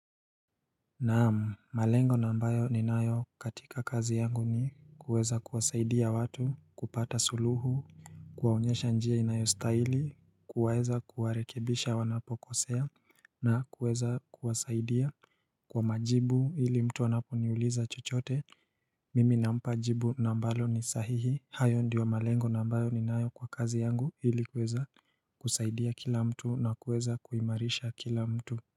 Naamu, malengo ambayo ni nayo katika kazi yangu ni kuweza kuwasaidia watu kupata suluhu, kuwaonyesha njia inayostaili, kuweza kuwarekebisha wanapokosea na kuweza kuwasaidia kwa majibu ili mtu wanapuniuliza chochote, mimi na mpajibu ambalo ni sahihi hayo ndiyo malengo ambayo ni nayo kwa kazi yangu ili kuweza kusaidia kila mtu na kuweza kuimarisha kila mtu.